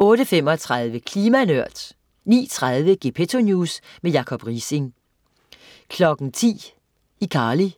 08.35 Klima Nørd 09.30 Gepetto News. Jacob Riising 10.00 iCarly.